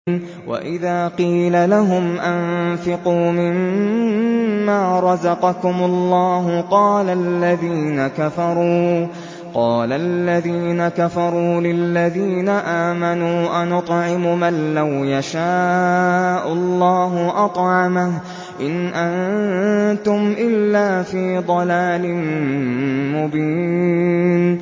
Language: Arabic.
وَإِذَا قِيلَ لَهُمْ أَنفِقُوا مِمَّا رَزَقَكُمُ اللَّهُ قَالَ الَّذِينَ كَفَرُوا لِلَّذِينَ آمَنُوا أَنُطْعِمُ مَن لَّوْ يَشَاءُ اللَّهُ أَطْعَمَهُ إِنْ أَنتُمْ إِلَّا فِي ضَلَالٍ مُّبِينٍ